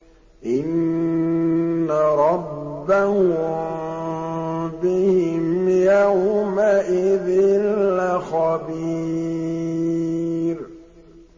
إِنَّ رَبَّهُم بِهِمْ يَوْمَئِذٍ لَّخَبِيرٌ